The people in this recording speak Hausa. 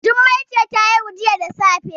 Jummai ce ta haihu jiya da safe